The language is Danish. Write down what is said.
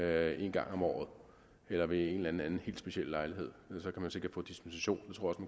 af en gang om året eller ved en eller anden anden helt speciel lejlighed og så kan man sikkert få dispensation